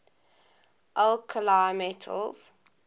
alkali metals